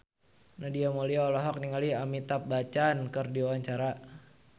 Nadia Mulya olohok ningali Amitabh Bachchan keur diwawancara